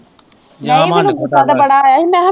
ਨਹੀਂ ਮੈਂਨੂੰ ਗੁੱਸਾ ਤਾਂ ਬੜਾ ਆਇਆ ਸੀ ਮੈਂ